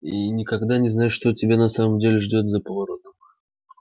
и никогда не знаешь что тебя на самом деле ждёт за поворотом